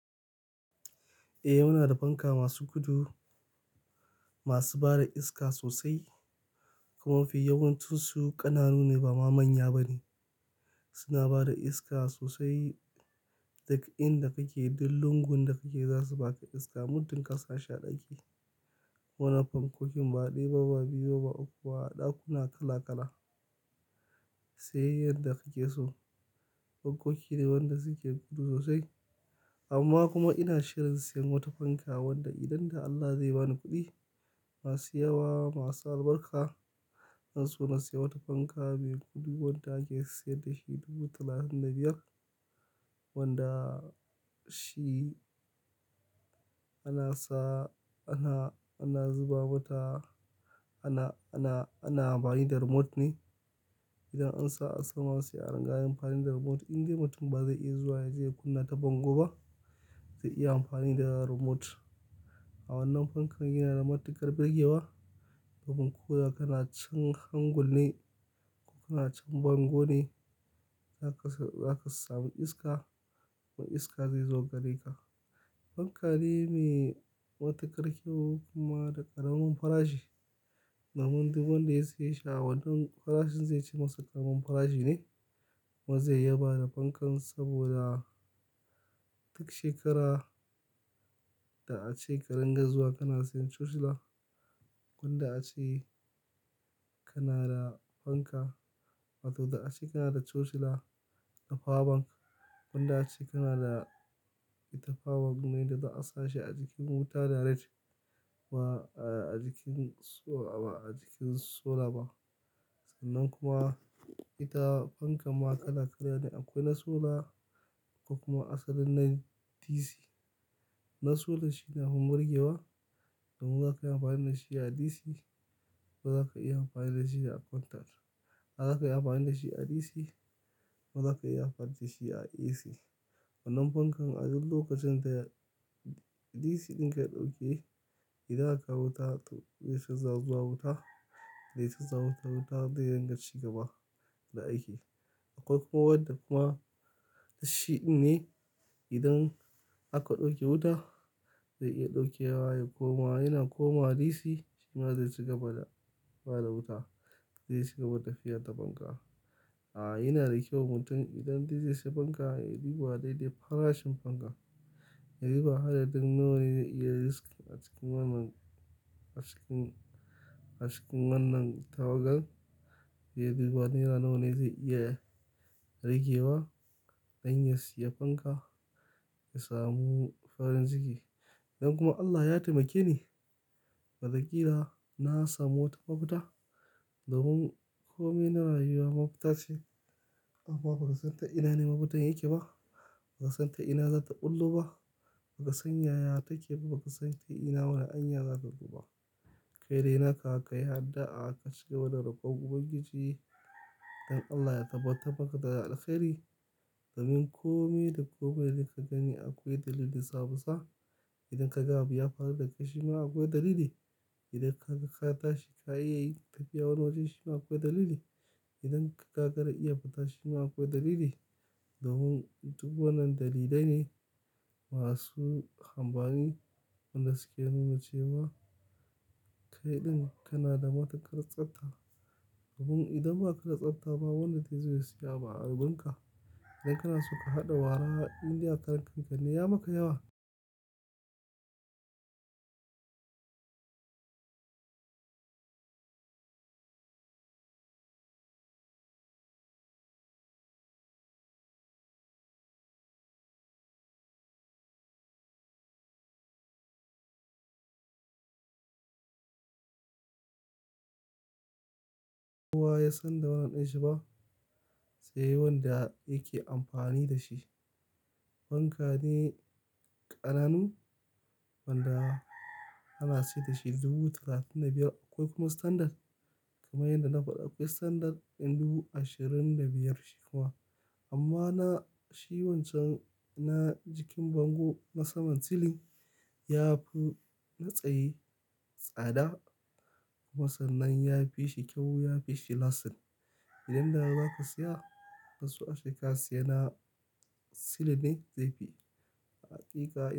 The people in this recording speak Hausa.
Eh, muna da fanka masu gudu masu bada iska sosai kuma mafi yawancin su ƙananu ne ba ma manya ba ne. Suna bada iska sosai, daga inda kake da lungun da kake za su baka iska. Muddin ka sa shi ɗaki. Wannan fankokin ba ɗaya ba, ba biyu ba, ba uku ba, ɗakuna kala kala. Sai yanda kake so. Fankoki ne wanda suke gudu sosai. Amma kuma ina shirin siyan wata fanka wanda idan da Allah zai bani kuɗi masu yawa, masu albarka, zan so na siya wata fanka mai gudu wanda ake sayar da shi dubu talatin da biyar. Wanda shi ana sa, ana, ana zuba mata, ana, ana, ana amfani da remote ne. Idan an sa a sama sai a ringa yi amfani da remote. In dai mutum ba zai iya zuwa ya je ya kunna ta bango ba, zai iya amfani da remote. A wannan fankan yana da matuƙar birgewa. Domin ko da kana can hangul ne ko kana can bango ne, zaka s-zaka sami iska. Kuma iska zai zo gare ka. Fanka ne me matuƙar kyau kuma da ƙaramin farashi. Domin duk wanda ya siye shi a wanan farashin zai ci masa ƙaramin farashi ne. Kuma zai yaba da fankan saboda duk shekara da ace ka ringa zuwa kana siyan chocula. Wanda ace kana da fanka, wato da ace kana da chocula da fawabank. Wanda ace kana da ita fawabank ne da za a sa shi a jikin wuta direct. Ba a jikin so-- ba a jikin sola ba. Sannan kuma ita fankan ma kala kala ne. Akwai na sola ko kuma asalin na DC. Na sola shi ne abun burgewa. Domin zaka iya amfani da shi a DC ko zaka iya amfani da shi a contact. Zaka iya amfani da shi a DC ko zaka iya amfani da shi a AC. Wannan fankan a duk lokacin da ya-- DC ɗinka ya ɗauke, idan aka kawo wuta zai canza zuwa wuta, zai canza maka wuta zai ringa ci gaba da aiki. Akwai kuma wanda kuma shidin ne. Idan aka ɗauke wuta zai iya ɗauke wa ya koma yana komawa DC shima zai ci gaba da bada wuta. Zai ci gaba da tafiyar ta fanka. A'a, yana da kyau mutum idan dai zai sai fanka ya yi duɓa dai-dai farashin fanka. Ya yi duba adadin nawa ne zai iya riski a cikin wannan, a cikin, a cikin wannan tawagar. Ya yi duba naira nawa ne zai iya ragewa don ya siya fanka, ya samu farin ciki. Idan kuma Allah ya taimake ni, wata kila na samu wata mabuta. Domin kome na rayuwa mafuta ce. Amma ba ka san ta ina ne mafutan yake ba. Ba ka san ta ina za ta ɓullo ba. Ba ka san yaya take ba. Ba ka san ta ina wane hanya za ta zoba. Kai dai naka ka yi addu'a ka cigaba da rokon ubangijii. Don Allah ya tabbatarmaka da alheri. Domin kome da komai da kika gani akwai dalili samunsa. Idan ka ga abu ya faru da kai shi ma akwai dalili. Idan ka ga katashi ka yi tafiya wani waje shi ma akwai dalili. Idan ka gagara iya fita shi ma akwai dalili. Domin duk wannan dalilai ne masu amfani. Wanda suke nuna cewa kai ɗin kana da matuƙar tsabta. Domin idan ba ka da tsabta ba wanda zai zo ya siya ma abu a wajenka. Idan kana so ka haɗa wara in dai a karankan ka, ne ya maka yawa? Kowa ya san da wannan ɗin shi ba, sai wanda yake amfani da shi. Fanka ne ƙananu wanda ana saye da shi dubu talatin da biyar. Akwai kuma standard. Kuma yanda na faɗa akwai standard ɗin dubu ashirin da biyar shi kuma. Amma na, shi wancan na jikin bango na saman silin yafi na tsaye tsada. Kuma sannan ya fi shi kyau, ya fi shi lastin. Idan da zaka siya, zan so ace ka siya na silin ne zai fi hakika.